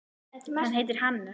Hann heitir Hannes.